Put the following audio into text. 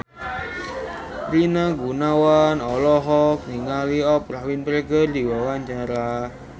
Rina Gunawan olohok ningali Oprah Winfrey keur diwawancara